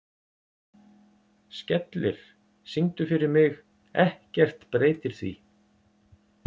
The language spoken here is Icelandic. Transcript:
Skellir, syngdu fyrir mig „Ekkert breytir því“.